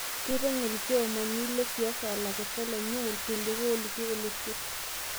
Keiteng'en lkiomani le siasa lakeshak lenye lkiliku ooliki olosho